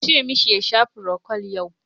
Ku ce mashi ya sha frokwal yau!